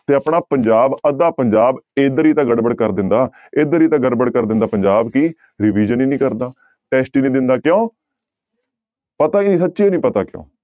ਤੇ ਆਪਣਾ ਪੰਜਾਬ ਅੱਧਾ ਪੰਜਾਬ ਇੱਧਰ ਹੀ ਤਾਂ ਗੜਬੜ ਕਰ ਦਿੰਦਾ ਇੱਧਰ ਹੀ ਤਾਂ ਗੜਬੜ ਕਰ ਦਿੰਦਾ ਪੰਜਾਬ ਕਿ revision ਹੀ ਨੀ ਕਰਦਾ test ਹੀ ਨੀ ਦਿੰਦਾ ਕਿਉਂ ਪਤਾ ਹੀ ਨੀ ਸੱਚੀ ਹੀ ਨੀ ਪਤਾ ਕਿਉਂ।